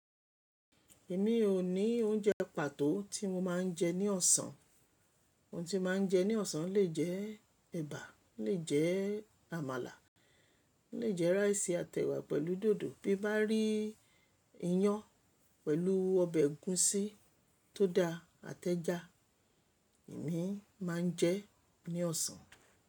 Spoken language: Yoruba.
Èmi ò ní oúnjẹ pàtó tí mo máa ń jẹ ní ọ̀sán. Ohun tí máa ń jẹ ní ọ̀sán lè jẹ ẹ̀bà, lè jẹ àmàlà, lè jẹ ráìsì àtẹ̀wà pẹ̀lú dòdò. Bí mo bá rí iyán pẹ̀lú ọbẹ̀ ẹ̀gúsí tó da àtẹ́ja, èmi máa ń jẹ ẹ́ ní ọ̀sán.